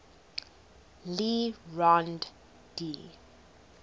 le rond d